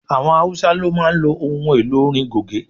Àwọn Haúsá ló máa ń ohun elò orin Goge.